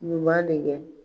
ɲuman de kɛ.